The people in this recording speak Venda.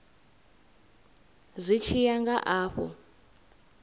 zwi tshi ya nga afho